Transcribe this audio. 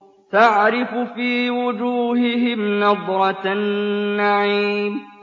تَعْرِفُ فِي وُجُوهِهِمْ نَضْرَةَ النَّعِيمِ